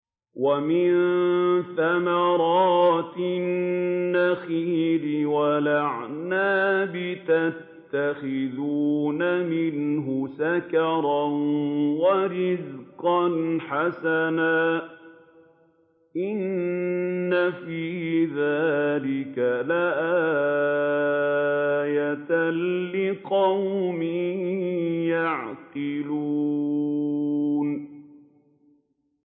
وَمِن ثَمَرَاتِ النَّخِيلِ وَالْأَعْنَابِ تَتَّخِذُونَ مِنْهُ سَكَرًا وَرِزْقًا حَسَنًا ۗ إِنَّ فِي ذَٰلِكَ لَآيَةً لِّقَوْمٍ يَعْقِلُونَ